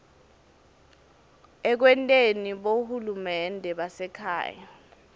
ekwenteni bohulumende basekhaya